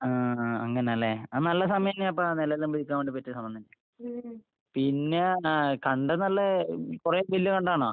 ആഹ് ആഹ് അങ്ങനല്ലേ, ആഹ് നല്ല സമയെന്നേപ്പാ. നെല്ലെല്ലാം വിതയ്ക്കാൻ വേണ്ടി പറ്റിയ സമയം തന്നെ. പിന്നേ കണ്ടം നല്ല കൊറേ വല്യ കണ്ടാണോ?